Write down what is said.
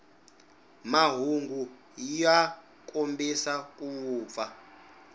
mahungu ya kombisa ku vupfa